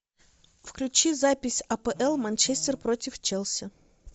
включи запись апл манчестер против челси